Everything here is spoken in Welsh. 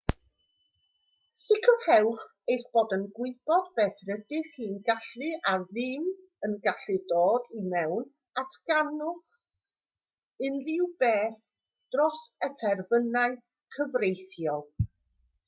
sicrhewch eich bod yn gwybod beth rydych chi'n gallu a ddim yn gallu dod i mewn a datganwch unrhyw beth dros y terfynau cyfreithiol